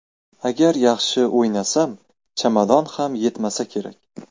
Agar yaxshi o‘ynasam, chamadon ham yetmasa kerak.